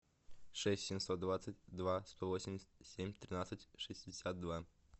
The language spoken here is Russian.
шесть семьсот двадцать два сто восемьдесят семь тринадцать шестьдесят два